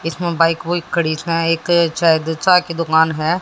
इसमें बाइक वोइक कोई खड़ी सै एक शायद चाय दो की दुकान है।